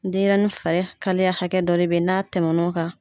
Denyɛrɛnin filɛ kaleya hakɛ dɔ de bɛ n'a tɛmɛn n'o kan.